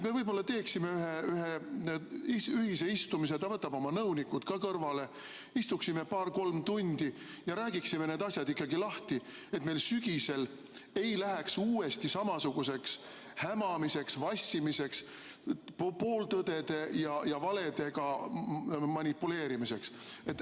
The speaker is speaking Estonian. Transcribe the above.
Me võiksime teha ühe ühise istumise ja ta võtaks oma nõunikud kõrvale, istuksime paar-kolm tundi ja räägiksime need asjad lahti, et meil sügisel ei läheks uuesti samasuguseks hämamiseks, vassimiseks, pooltõdede ja valedega manipuleerimiseks.